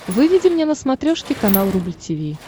выведи мне на смотрешке канал рубль ти ви